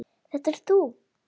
Þetta ert þú!